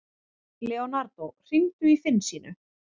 Leonardo, hringdu í Finnsínu.